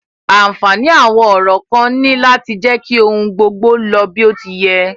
Ànfààní àwọn orò kan ní láti jẹ́ kí ohun gbogbo lọ bí o ti yẹ.